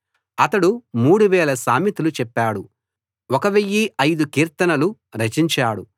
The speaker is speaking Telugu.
అతడు 3000 సామెతలు చెప్పాడు 1005 కీర్తనలు రచించాడు